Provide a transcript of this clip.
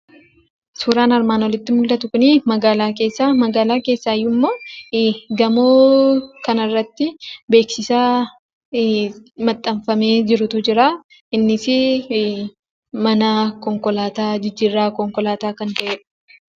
Suuraan armaan olitti mul'atu kuni, magaalaa keessa. Magaalaa keessaayyuummoo, gamoo kanarratti beeksisa maxxanfamee jirutu jira. Innis mana konkolaataa, jijjiirraa konkolaataa kan ta'edha.